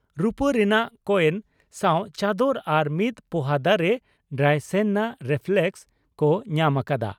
ᱨᱩᱯᱟᱹ ᱨᱮᱱᱟᱜ ᱠᱚᱭᱮᱱ ᱥᱟᱣ ᱪᱟᱫᱚᱨ ᱟᱨ ᱢᱤᱫ ᱯᱚᱦᱟ ᱫᱟᱨᱮ ᱰᱨᱟᱥᱮᱭᱱᱟ ᱨᱮᱯᱷᱞᱮᱠᱥ) ᱠᱚ ᱧᱟᱢ ᱟᱠᱟᱫᱼᱟ ᱾